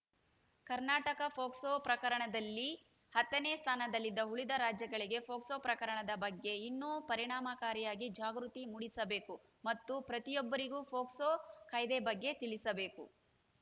Karnataka POCSO ಪ್ರಕರಣದಲ್ಲಿ ಹತ್ತನೇ ಸ್ಥಾನದಲ್ಲಿದೆ ಉಳಿದ ರಾಜ್ಯಗಳಿಗೆ ಪೊಕ್ಸೊ ಪ್ರಕರಣದ ಬಗ್ಗೆ ಇನ್ನೂ ಪರಿಣಾಮಕಾರಿಯಾಗಿ ಜಾಗೃತಿ ಮೂಡಿಸಬೇಕು ಮತ್ತು ಪ್ರತಿಯೊಬ್ಬರಿಗೂ ಪೊಕ್ಸೋ ಕಾಯ್ದೆ ಬಗ್ಗೆ ತಿಳಿಸಬೇಕು